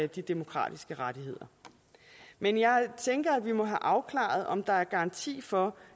de demokratiske rettigheder men jeg tænker at vi må have afklaret om der er garanti for